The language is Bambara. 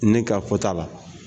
Ne ka fɔ ta la.